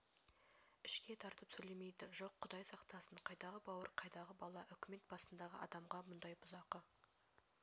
ішке тартып сөйлемейді жоқ құдай сақтасын қайдағы бауыр қайдағы бала үкімет басындағы адамға мұндай бұзақы